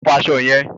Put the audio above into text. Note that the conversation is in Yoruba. O ò gbọdọ̀ fọ aṣọ yẹn.